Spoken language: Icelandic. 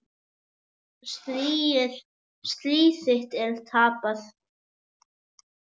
Stríð þitt er tapað.